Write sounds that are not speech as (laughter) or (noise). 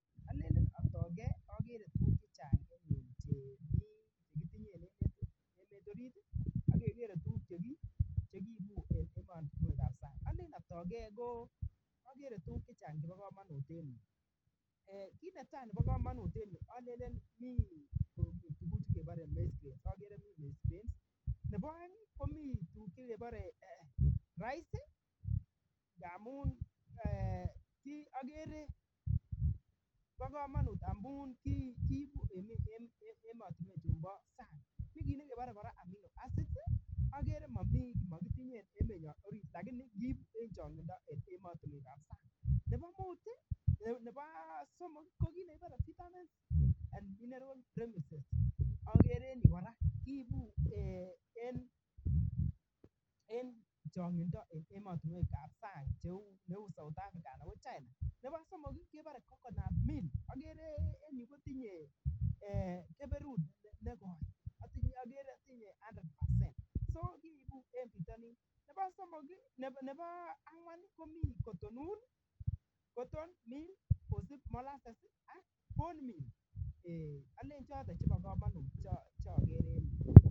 Alen atoigei akakere ale tuguk chemii chekitinyen en yu ak chemii ematinwekab sang alen atoigei ko akere tugun chechang chebo kominut en yu kiit netai nebo komonut en yu aleen ko tuguk chebore (inaudible) nebo aeng komii tuguk chebore (inaudible) amun eeh akere kii kobo kamanut amuu kiibu eng ematinwekab sang tuguchu kora bore amnino acids akere mamiii makitinye eng emetnyo orit lakini mii eng changindo eng ematinwek ab sang nebo somok koki nebore vitamin and mineral medicines akere eng yu kora kiibu eng changindo eng ematinwekab sang cheu south africa anan ko china nebo somok kebore coconut meal akere eng yu kotinye keberut nekoi akere tinye one hundred percent so kiibu eng bitonin nebo engwan komii cotton wool cotton ni molases ak bone meal aleen chotok kobo komonut che akere en yu.